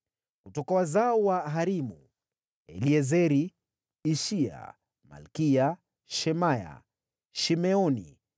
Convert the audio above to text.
Kutoka wazao wa Harimu: Eliezeri, Ishiya, Malkiya, Shemaya, Shimeoni,